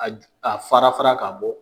A fara fara k'a bɔ